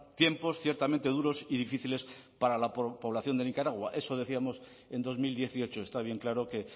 tiempos ciertamente duros y difíciles para la población de nicaragua eso decíamos en dos mil dieciocho está bien claro que